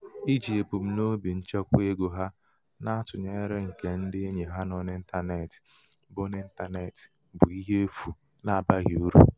iji ebumnobi nchekwa ego ha na-atụnyere nke ndị enyi ha nọ n'intanetị bụ n'intanetị bụ ihe efu n'abaghị uru.